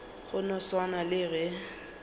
go no swana le ge